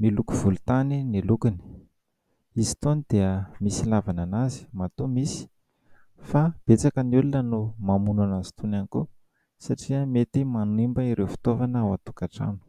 miloko volotany ny lokiny; izy itony dia misy ilavana an'azy matoa misy fa betsaka ny olona no mamono an'azy itony ihany koa satria mety manimba ireo fitovana ao atokantrano.